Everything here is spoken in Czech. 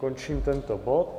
Končím tento bod.